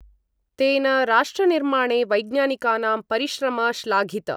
तेन राष्ट्रनिर्माणे वैज्ञानिकानां परिश्रम श्लाघित।